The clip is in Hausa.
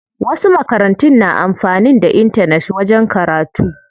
Wasu makarantun na amfanin da intanet wajen karatu.